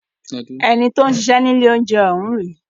Ẹni tí ó ń ṣiṣẹ́ ni ilé oúnjẹ ọ̀ún rèé.